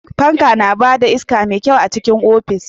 Fanka yana ba da iska mai kyau a cikin ofis.